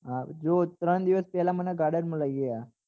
હા જોવો ત્રણ દિવસ પહેલા મને garden માં લઇ ગયા